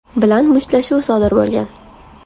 bilan mushtlashuv sodir bo‘lgan.